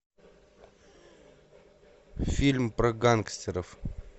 фильм про гангстеров